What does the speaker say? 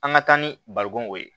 An ka taa ni barikon ye